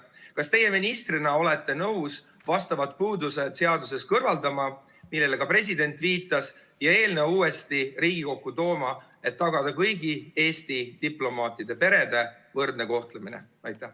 Kas teie ministrina olete nõus vastavad puudused, millele ka president viitas, seadusest kõrvaldama ja eelnõu uuesti Riigikokku tooma, et tagada kõigi Eesti diplomaatide perede võrdne kohtlemine?